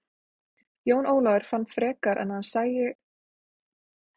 Jón Ólafur fann frekar en að hann sæi að han nvar að ná þeim.